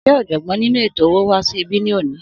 Sé òjògbọ́n nínú ètò owó wá sí ibí ní òní?